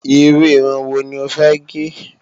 Iru irun wo ni ó fẹ́ gẹ̀?